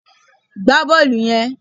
Gbá bọ́ọ̀lù yen